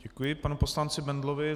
Děkuji panu poslanci Bendlovi.